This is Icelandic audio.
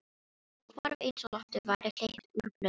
Hvarf eins og lofti væri hleypt úr blöðru.